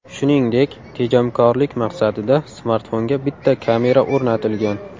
Shuningdek, tejamkorlik maqsadida smartfonga bitta kamera o‘rnatilgan.